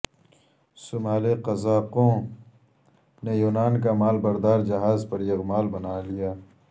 صومالی قزاقوں نے یونان کا مال بردار جہاز یرغمال بنالیا